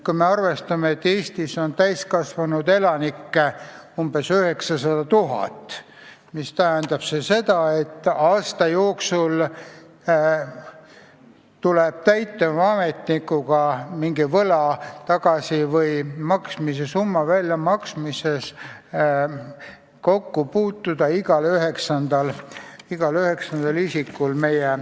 Kui me arvestame, et Eestis on täiskasvanud elanikke umbes 900 000, siis see tähendab seda, et aasta jooksul tuleb täitevametnikuga mingi võla tagasimaksmisega seoses kokku puutuda igal üheksandal elanikul.